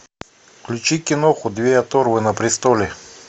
включи киноху две оторвы на престоле